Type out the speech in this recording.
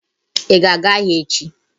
Ị ga-aga ahịa echi?